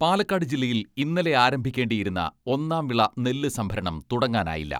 പാലക്കാട് ജില്ലയിൽ ഇന്നലെ ആരംഭിക്കേണ്ടിയിരുന്ന ഒന്നാം വിള നെല്ല് സംഭരണം തുടങ്ങാനായില്ല.